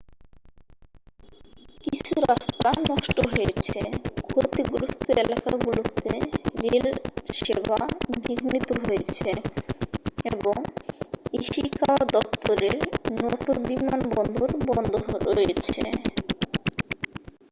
কিছু রাস্তা নষ্ট হয়েছে ক্ষতিগ্রস্থ এলাকাগুলোকে রেল সেবা বিঘ্নিত হয়েছে এবং ইশিকাওয়া দপ্তরের নটো বিমানবন্দর বন্ধ রয়েছে